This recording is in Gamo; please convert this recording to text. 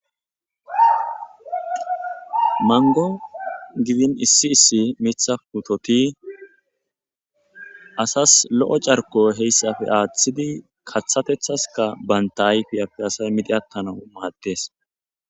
Mango gidin issi issi mitha putoti asas lo'o carko heyssafe athidi kathaska banta hayfiyappe asay midi attanau maaddes.